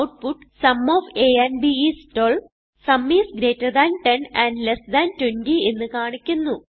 output sum of a and b I S 12 sum I S greater than 10 and less than 20 എന്ന് കാണിക്കുന്നു